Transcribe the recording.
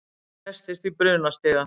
Festist í brunastiga